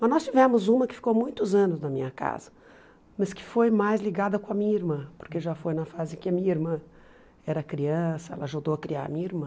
Mas nós tivemos uma que ficou muitos anos na minha casa, mas que foi mais ligada com a minha irmã, porque já foi na fase que a minha irmã era criança, ela ajudou a criar a minha irmã.